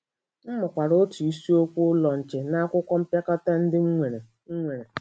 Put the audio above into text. M mụọkwara otu isiokwu Ụlọ Nche n’akwụkwọ mpịakọta ndị m nwere nwere.